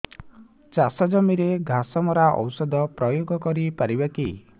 ଚାଷ ଜମିରେ ଘାସ ମରା ଔଷଧ ପ୍ରୟୋଗ କରି ପାରିବା କି